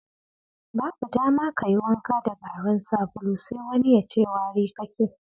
Babu dama ka yi wanka da garin sabulu sai wani ya ce wari kake!